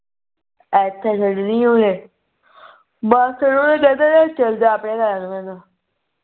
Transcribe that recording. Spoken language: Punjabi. ਐਥੇ ਛੱਡਣੀ ਉਹਨੇ ਬਸ ਉਹ ਕਹਿੰਦੇ ਨੇ ਚਲ ਜਾ ਆਪਣੇ ਘਰ